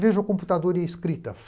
Veja o computador e a escrita.